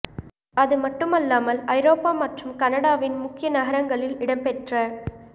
அது மட்டுமல்லாமல் ஐரோப்பா மற்றும் கனடாவின் முக்கிய நகரங்களில் இடம்பெற்ற